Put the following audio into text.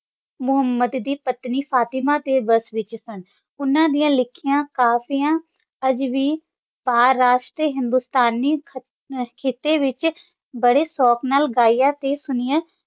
ਮੁਹੰਮਦ ਦੀ ਪਤਨੀ ਫਾਤਿਮਾ ਵੱਸ ਵਿਚ ਸਨ ਉੰਨਾ ਦੀ ਲਿਖੀਆਂ ਕਾਫੀਆਂ ਅਜੇ ਵੇ ਪ੍ਰੈਸ਼ ਤੇ ਹਿੰਦੁਸਤਾਨੀ ਖਿਤੇ ਵਿਚ ਬਾਰੇ ਸ਼ੋਕ ਨਾਲ ਗਿਆ ਤੇ ਸੁਣਿਆ